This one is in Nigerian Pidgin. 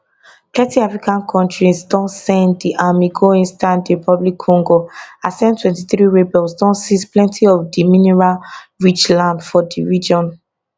plenty african kontris don send di army go eastern dr congo as m23 rebels don seize plenty of di mineralrich land for di region